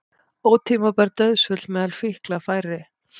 Ótímabær dauðsföll meðal fíkla færri